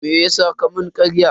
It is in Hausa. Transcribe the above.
Meyasa ka mun karya?